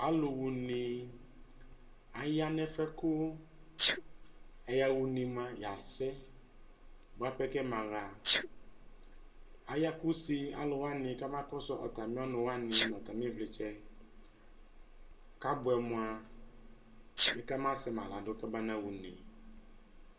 Alʋɣa une, aya nʋ ɛfuɛ kʋ ɛyaɣa une moa yasɛ boa pɛ kɛmaɣa Aya kʋ use alʋ wani kama kɔsʋ atami ɔnʋ wani nʋ atami ivlitsɛ, kabuɛ moa bi kabasɛma la dʋ kaba naɣa une